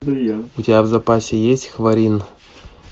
у тебя в запасе есть хварин